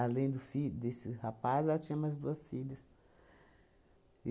do fi desse rapaz, ela tinha mais duas filhas.